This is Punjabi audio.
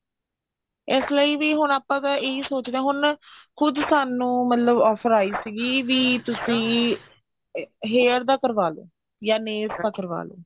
ਇਸ ਲਈ ਵੀ ਆਪਾਂ ਹੁਣ ਇਹੀ ਸੋਚਦੇ ਆ ਹੁਣ ਖੁਦ ਸਾਨੂੰ offer ਆਈ ਸੀਗੀ ਵੀ ਤੁਸੀਂ hair ਦਾ ਕਰਵਾਲੋ ਜਾਂ nails ਦਾ ਕਰਵਾਲੋ